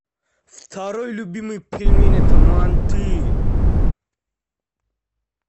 второй любимый пельмень это манты